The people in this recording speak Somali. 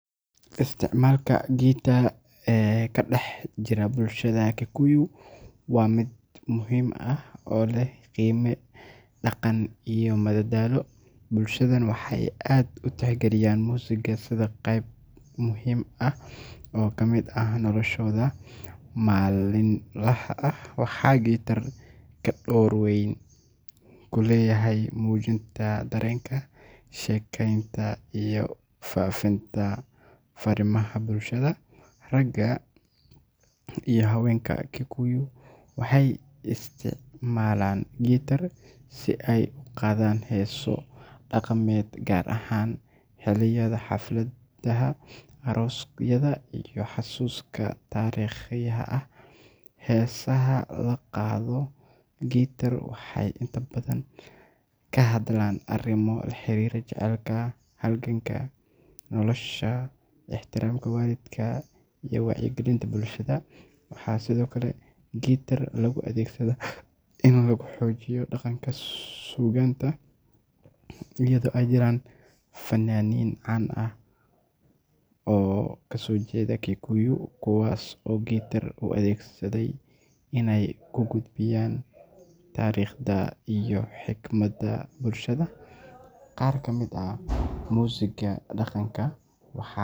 Isticmaalka guitar ka dhex jira bulshada Kikuyu waa mid muhiim ah oo leh qiime dhaqan iyo madadaalo. Bulshadan waxay aad u tixgeliyaan muusigga sida qayb muhiim ah oo ka mid ah noloshooda maalinlaha ah, waxaana guitar ka door weyn ku leeyahay muujinta dareenka, sheekaynta iyo faafinta farriimaha bulshada. Ragga iyo haweenka Kikuyu waxay isticmaalaan guitar si ay u qaadaan heeso dhaqameed, gaar ahaan xilliyada xafladaha, aroosyada iyo xusaska taariikhiga ah. Heesaha lagu qaado guitar waxay inta badan ka hadlaan arrimo la xiriira jacaylka, halganka nolosha, ixtiraamka waalidka, iyo wacyigelinta bulshada. Waxaa sidoo kale guitar lagu adeegsadaa in lagu xoojiyo dhaqanka suugaanta, iyadoo ay jiraan fannaaniin caan ah oo ka soo jeeda Kikuyu kuwaas oo guitar u adeegsaday inay ku gudbiyaan taariikhda iyo xigmadda bulshada. Qaar ka mid ah muusigga dhaqanka waxaa.